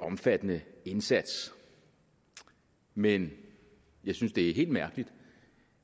omfattende indsats men jeg synes det er helt mærkeligt